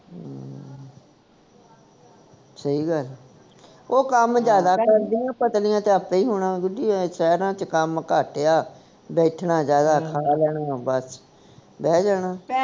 ਸਹੀ ਗੱਲ ਉਹ ਕੰਮ ਜਿਆਦਾ ਕਰਦੀਆਂ ਪਤਲੀਆਂ ਤਾਂ ਆਪੇ ਹੋਣਾ ਗੁੱਡੀ ਸ਼ਹਿਰਾਂ ਵਿਚ ਕੰਮ ਘੱਟ ਆ ਬੈਠਣਾ ਜਿਆਦਾ ਖਾ ਲੈਣਾ ਬਸ ਬਹਿ ਜਾਣਾ